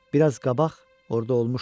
Biraz qabaq orda olmuşdu.